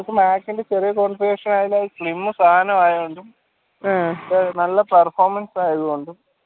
ചെറിയ slim സാനയോണ്ടും നല്ല performance ആയോണ്ടും